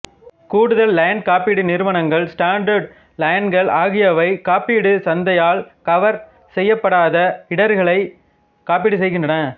கூடுதல் லைன் காப்பீடு நிறுவனங்கள் ஸ்டாண்டர்டு லைன்கள் ஆகியவை காப்பீடு சந்தையால் கவர் செய்யப்படாத இடர்களை காப்பீடு செய்கின்றன